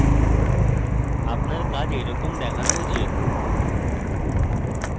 আপনার কাজ এইরকম দেখানো উচিত